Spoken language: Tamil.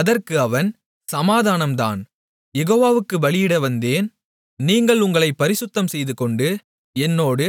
அதற்கு அவன் சமாதானம் தான் யெகோவாவுக்குப் பலியிடவந்தேன் நீங்கள் உங்களைப் பரிசுத்தம் செய்துகொண்டு என்னோடு